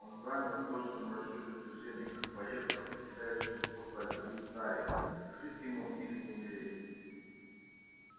он замер в точном расчёте движения как боец в определяющем исход борьбы ударе жить ему или не умереть